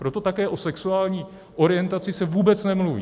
Proto také o sexuální orientaci se vůbec nemluví.